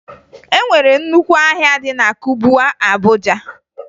E nwere nnukwu ahịa dị na Kubwa, Abuja